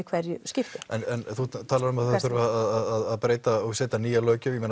hverju skipti en þú talar um að það þurfi að breyta og setja nýja löggjöf